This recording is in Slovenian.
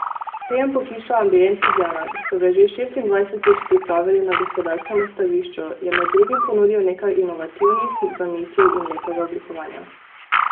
Sejem pohištva Ambient Ljubljana, ki so ga že šestindvajsetič pripravili na Gospodarskem razstavišču, je med drugim ponudil nekaj inovativnih zamisli in lepega oblikovanja.